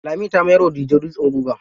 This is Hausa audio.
Lami ta mayar wa Dije dutsen guga.